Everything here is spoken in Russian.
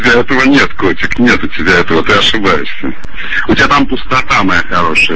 у тебя этого нет котик нет у тебя этого ты ошибаешься у тебя там пустота моя хорошая